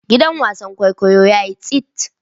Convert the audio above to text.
Gidan wasan kwaikwayo yayi tsit.